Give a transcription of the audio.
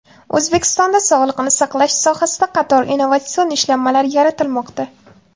O‘zbekistonda sog‘liqni saqlash sohasida qator innovatsion ishlanmalar yaratilmoqda.